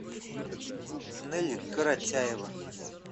нелли коротяева